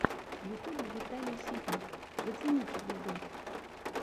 в ютьюбе виталий ситник зацените видос